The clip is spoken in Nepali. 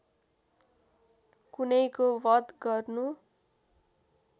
कुनैको वध गर्नु